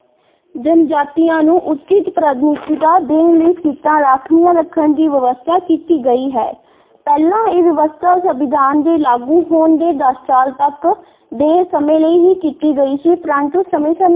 ਜਨਜਾਤੀਆਂ ਨੂੰ ਉਚਿੱਤ ਪ੍ਰਤੀਨਿਧਤਾ ਦੇਣ ਲਈ ਸੀਟਾਂ ਰਾਖਵੀਆਂ ਰੱਖਣ ਦੀ ਵਿਵਸਥਾ ਕੀਤੀ ਗਈ ਹੈ ਪਹਿਲਾਂ ਇਹ ਵਿਵਸਥਾ ਸੰਵਿਧਾਨ ਦੇ ਲਾਗੂ ਹੋਣ ਦੇ ਦਸ ਸਾਲ ਤੱਕ ਦੇ ਸਮੇਂ ਲਈ ਹੀ ਕੀਤੀ ਗਈ ਸੀ ਪਰੰਤੂ ਸਮੇਂ ਸਮੇਂ।